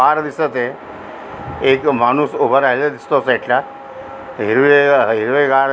पार दिसत य एक माणूस उभा राहिलेला दिसतो साईड ला हिरवे हिरवेगार --